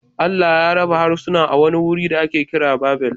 Allah ya raba harsunan a wani wuri da ake kira Babel